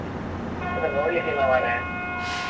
ಇಲ್ಲ ನೋಡ್ಲಿಕ್ಕೆ ಇಲ್ಲಾ ಮರ್ರೆ?